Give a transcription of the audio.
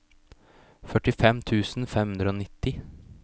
førtifem tusen fem hundre og nitti